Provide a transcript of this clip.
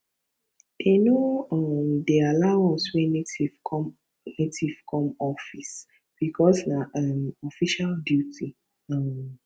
they no um dey allow us wear native come native come office because nah um official duty um